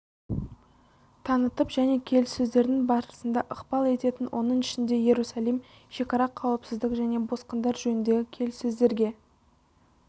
танытып және келіссөздердің барысына ықпал ететін оның ішінде иерусалим шекара қауіпсіздік және босқындар жөніндегі келіссөздерге